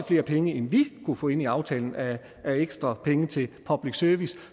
flere penge end vi kunne få ind i aftalen af ekstra penge til public service